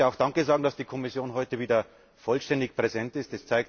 Ich möchte auch Danke sagen dafür, dass die Kommission heute wieder vollständig präsent ist.